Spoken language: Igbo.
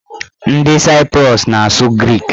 Ndị Saiprus na-asụ grik.